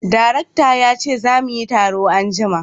Darekta ya ce za muyi taro anjima